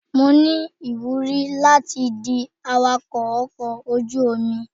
Mo ní ìwúrí láti di awakọ́ ọkọ̀ ojú omi.